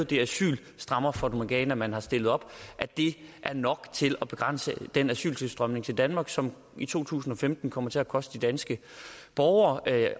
det asylstrammerfatamorgana man har stillet op er nok til at begrænse den asyltilstrømning til danmark som i to tusind og femten kommer til at koste danske borgere